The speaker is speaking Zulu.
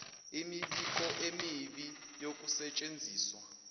imibiko emibi yokusetshenziswa